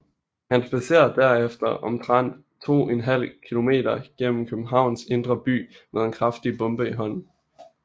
Han spadserer derefter omtrent to en halv kilometer gennem Københavns indre by med en kraftig bombe i hånden